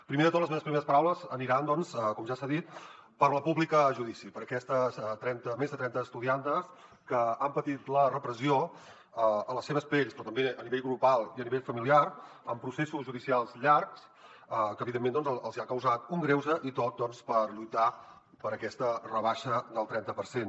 primer de tot les meves primeres paraules aniran com ja s’ha dit per a la pública a judici per a aquestes més de trenta estudiantes que han patit la repressió a les seves pells però també a nivell grupal i a nivell familiar amb processos judicials llargs que evidentment els hi han causat un greuge i tot doncs per lluitar per aquesta rebaixa del trenta per cent